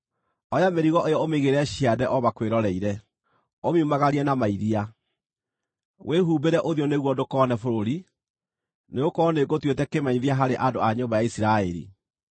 Oya mĩrigo ĩyo ũmĩigĩrĩre ciande o makwĩroreire, ũmiumagarie na mairia. Wĩhumbĩre ũthiũ nĩguo ndũkone bũrũri, nĩgũkorwo nĩngũtuĩte kĩmenyithia harĩ andũ a nyũmba ya Isiraeli.”